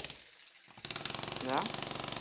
ஏன்